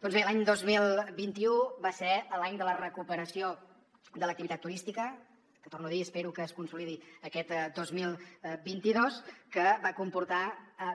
doncs bé l’any dos mil vint u va ser l’any de la recuperació de l’activitat turística que ho torno a dir espero que es consolidi aquest dos mil vint dos que va comportar